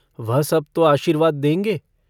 वह सब तो आशीर्वाद देंगे।